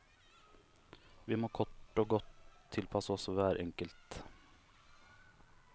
Vi må kort og godt tilpasse oss hver enkelt.